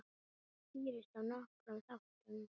Það skýrist af nokkrum þáttum.